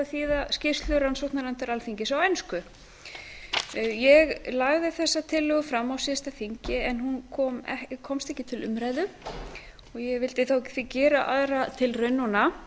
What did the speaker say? þýða skýrslu rannsóknarnefndar alþingis á ensku ég lagði þessa tillögu fram á síðasta þingi en hún komst ekki til umræðu og ég vildi því gera aðra tilraun núna